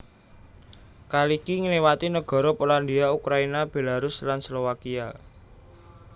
Kaliki ngliwati negara Polandia Ukraina Belarus lan Slowakia